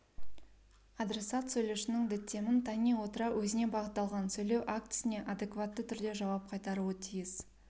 адресат сөйлеушінің діттемін тани отыра өзіне бағытталған сөйлеу актісіне адекватты түрде жауап қайтаруы тиіс